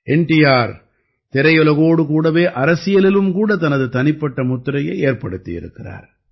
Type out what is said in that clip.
என் டி ஆர் திரையுலகோடு கூடவே அரசியலிலும் கூட தனது தனிப்பட்ட முத்திரையை ஏற்படுத்தியிருக்கிறார்